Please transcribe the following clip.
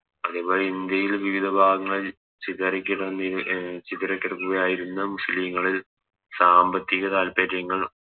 അതുപോലെ ഇന്ത്യയിൽ വിവിധ ഭാഗങ്ങളിൽ ചിതറിക്കിടന്നി അഹ് ചിതറിക്കിടന്ന തായിരുന്നു മുസ്ലിങ്ങളിൽ സാമ്പത്തിക താൽപ്പര്യങ്ങൾ